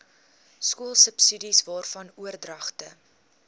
skoolsubsidies waarvan oordragte